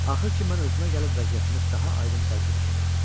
Axır ki, mən özümə gəlib vəziyyətimi daha aydın dərk etməyə başladım.